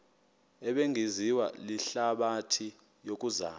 ebingaziwa lihlabathi yokuzama